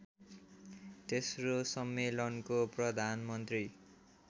तेस्रो सम्मेलनको प्रधानमन्त्री